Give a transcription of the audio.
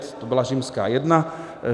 To byla římská jedna.